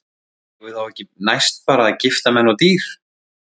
Eigum við þá ekki næst bara að gifta menn og dýr?